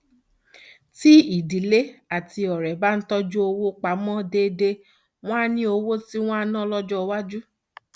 tí ìdílé àti ọrẹ bá ń tọjú owó pa mọ déédéé wọn á ní owó tí wọn á ná lọjọ iwájú